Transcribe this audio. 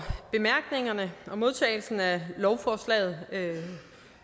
for modtagelsen af lovforslaget